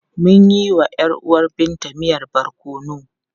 Mun yi wa ‘yar uwar Binta miyan barkono.